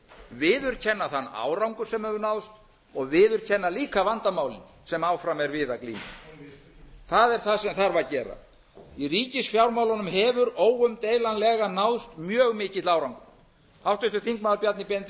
viðurkenna þann árangur sem hefur náðst og viðurkenna líka vandamálin sem áfram er að við að glíma það er það sem þarf að gera í ríkisfjármálunum hefur óumdeilanlega náðst mjög mikill árangur háttvirtur þingmaður bjarni benediktsson